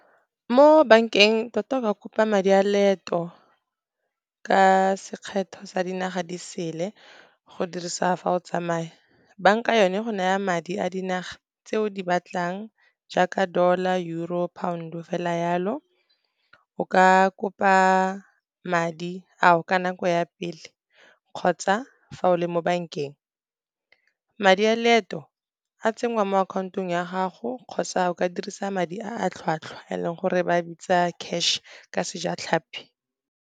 Mo bankeng, tota o ka kopa madi a leeto ka sekgetho sa dinaga di sele, go dirisa fa o tsamaya. Banka yone e go naya madi a dinaga tse o di batlang, jaaka dollar, euro, pound-o fela jalo. O ka kopa madi ao ka nako ya pele kgotsa fa o le mo bankeng. Madi a leeto, a tsenngwa mo akhaontong ya gago, kgotsa o ka dirisa madi a tlhwatlhwa e leng gore ba a bitsa cash ka Sejatlhapi.